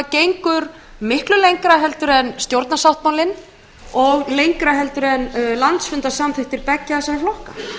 gengur miklu lengra heldur en stjórnarsáttmálinn og lengra heldur en landsfundarsamþykktir beggja þessara flokka